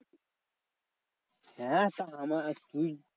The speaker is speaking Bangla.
হ্যাঁ আমার তুই